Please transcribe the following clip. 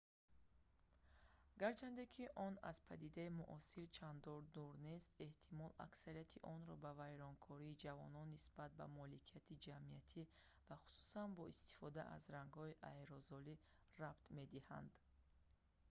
гарчанде ки он аз падидаи муосир чандон дур нест эҳтимол аксарият онро бо вайронкории ҷавонон нисбат ба моликияти ҷамъиятӣ ва хусусӣ бо истифода аз рангҳои аэрозолӣ рабт медиҳанд